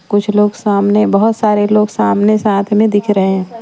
कुछ लोग सामने बहुत सारे लोग सामने साथ में दिख रहे हैं .